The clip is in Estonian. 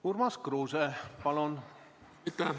Urmas Kruuse, palun!